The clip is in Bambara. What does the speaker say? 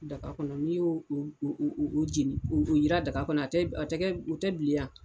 Daga kɔnɔ n'i y'o jeni, o yiran daga kɔnɔ u tɛ bila ya?